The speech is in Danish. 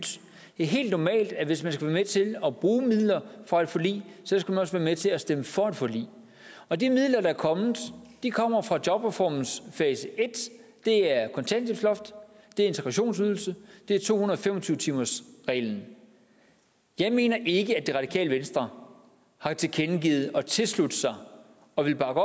det er helt normalt at hvis man skal være med til at bruge midler fra et forlig skal man også være med til at stemme for et forlig og de midler der er kommet kommer fra jobreformens fase i og det er kontanthjælpsloft det er integrationsydelse det er to hundrede og fem og tyve timersreglen jeg mener ikke at det radikale venstre har tilkendegivet at tilslutte sig og ville bakke